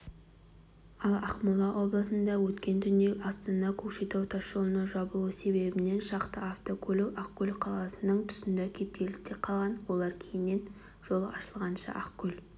ал ақмола облысында өткен түнде астана-көкшетау тасжолының жабылуы себебінен шақты автокөлік ақкөл қаласының тұсында кептелісте қалған олар кейіннен жол ашылғанша ақкөл